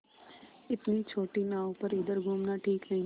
इतनी छोटी नाव पर इधर घूमना ठीक नहीं